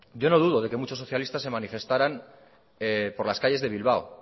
yo no dudo de que muchos socialistas se manifestaran por las calles de bilbao